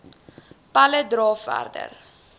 pella dra verder